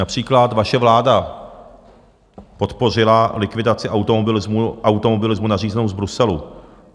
Například vaše vláda podpořila likvidaci automobilismu nařízenou z Bruselu.